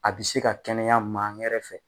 A bi se ka kɛnɛya maa ŋɛrɛ fɛ